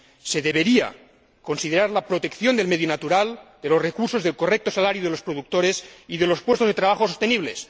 Se debería considerar la protección del medio natural, de los recursos, del correcto salario de los productores y de los puestos de trabajo sostenibles